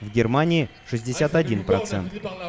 в германии шестьдесят один процент